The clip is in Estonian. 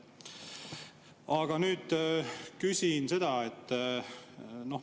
Aga nüüd küsin seda.